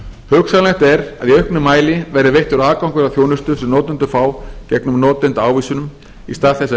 hugsanlegt er að í auknum mæli verði veittur aðgangur að þjónustu sem notendur fá gegn notendaávísunum í stað þess að